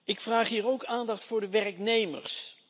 Ik vraag hier ook aandacht voor de werknemers.